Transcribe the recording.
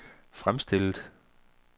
fremstillet